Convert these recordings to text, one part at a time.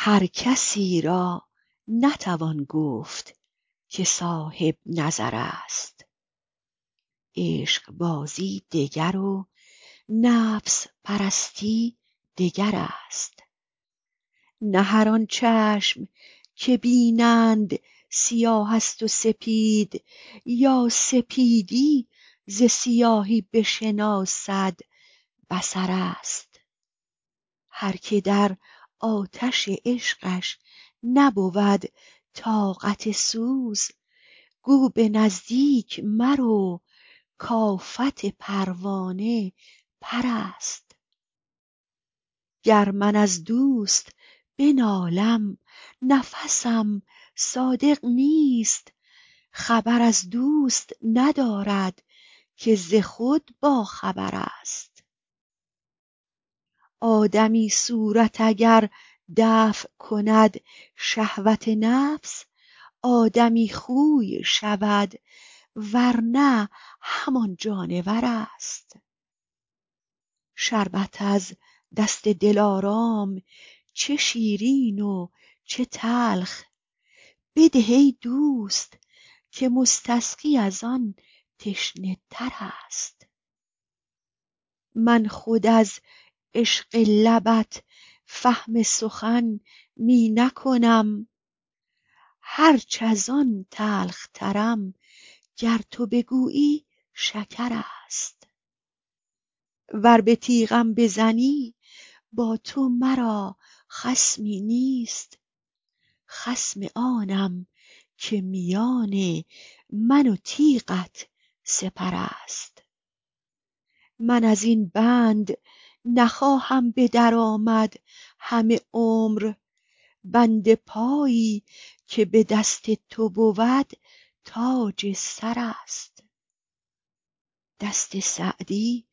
هر کسی را نتوان گفت که صاحب نظر است عشقبازی دگر و نفس پرستی دگر است نه هر آن چشم که بینند سیاه است و سپید یا سپیدی ز سیاهی بشناسد بصر است هر که در آتش عشقش نبود طاقت سوز گو به نزدیک مرو کآفت پروانه پر است گر من از دوست بنالم نفسم صادق نیست خبر از دوست ندارد که ز خود باخبر است آدمی صورت اگر دفع کند شهوت نفس آدمی خوی شود ور نه همان جانور است شربت از دست دلارام چه شیرین و چه تلخ بده ای دوست که مستسقی از آن تشنه تر است من خود از عشق لبت فهم سخن می نکنم هرچ از آن تلخترم گر تو بگویی شکر است ور به تیغم بزنی با تو مرا خصمی نیست خصم آنم که میان من و تیغت سپر است من از این بند نخواهم به در آمد همه عمر بند پایی که به دست تو بود تاج سر است دست سعدی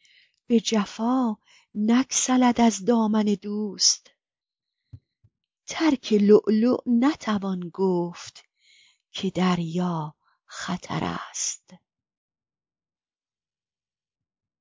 به جفا نگسلد از دامن دوست ترک لؤلؤ نتوان گفت که دریا خطر است